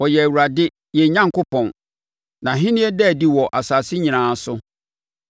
Ɔyɛ Awurade, yɛn Onyankopɔn. Nʼahennie da adi wɔ asase so nyinaa.